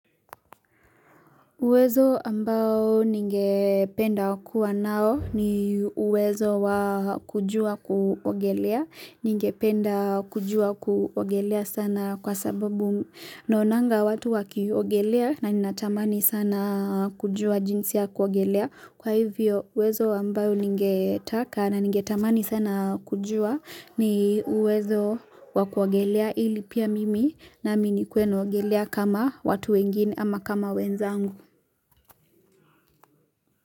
Uwezo ambao ningependa wa kuwa nao, ni uwezo wa kujuwa kuogelea. Ningependa kujuwa kuogelea sana, kwa sababu naonanga watu wakiogelea na ninatamani sana kujua jinsi ya kuogelea. Kwa hivyo, uwezo ambayo ningetaka na ningetamani sana kujua ni wezo wa kuogelea ili pia mimi nami nikuwe naogelea kama watu wengine ama kama wenzangu.